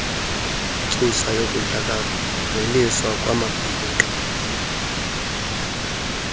ntsusa yokudlakazeliswa kwamabhinqa